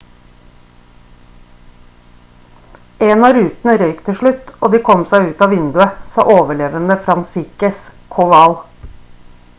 «en av rutene røk til slutt og de kom seg ut av vinduet» sa overlevende franciszek kowal